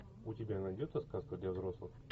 у тебя найдется сказка для взрослых